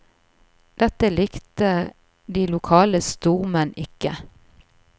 Dette likte de lokale stormenn ikke.